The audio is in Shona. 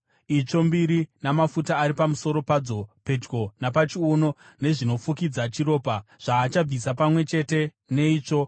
itsvo mbiri namafuta ari pamusoro padzo, pedyo napachiuno, nezvinofukidza chiropa, zvaachabvisa pamwe chete neitsvo.